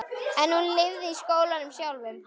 En hún lifði í skólanum sjálfum.